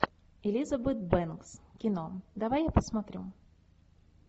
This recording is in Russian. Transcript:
элизабет бэнкс кино давай я посмотрю